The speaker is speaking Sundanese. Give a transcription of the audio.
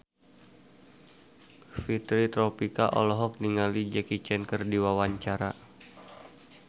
Fitri Tropika olohok ningali Jackie Chan keur diwawancara